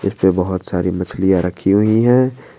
इस पे बहोत सारी मछलियां रखी हुई हैं।